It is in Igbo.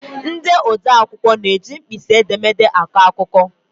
Ndị odee akwụkwọ na-eji mkpịsị edemede akọ akụkọ.